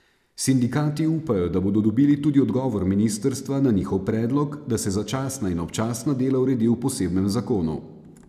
Sindikati upajo, da bodo dobili tudi odgovor ministrstva na njihov predlog, da se začasna in občasna dela uredi v posebnem zakonu.